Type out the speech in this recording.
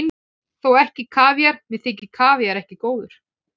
Þó ekki kavíar, mér þykir kavíar ekki góður.